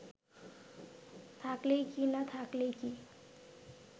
থাকলেই কি না থাকলেই কি